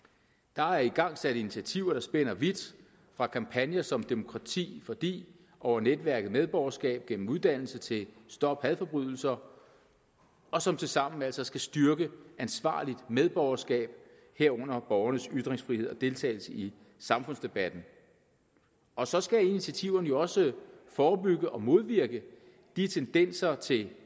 der er igangsat initiativer der spænder vidt fra kampagner som demokrati fordi over netværket medborgerskab gennem uddannelse til stop hadforbrydelser og som tilsammen altså skal styrke ansvarligt medborgerskab herunder borgernes ytringsfrihed og deltagelse i samfundsdebatten og så skal initiativerne jo også forebygge og modvirke de tendenser til